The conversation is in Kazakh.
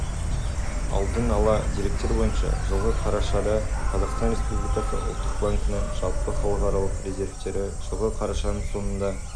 алдын ала деректер бойынша жылғы қарашада қазақстан республикасы ұлттық банкінің жалпы халықаралық резервтері жылғы қарашаның соңында